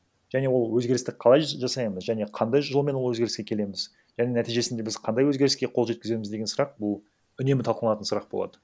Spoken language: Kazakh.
және ол өзгерісті қалай жасаймыз және қандай жолмен ол өзгеріске келеміз және нәтижесінде біз қандай өзгеріске қол жеткіземіз деген сұрақ бұл үнемі талқыланатын сұрақ болады